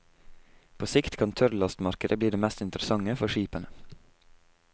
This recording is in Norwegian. På sikt kan tørrlastmarkedet bli det mest interessante for skipene.